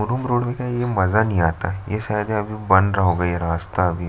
room road में मजा नहीं आता ये शायद बन रहा होगा ये रास्ता अभी --